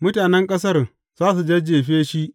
Mutanen ƙasar za su jajjefe shi.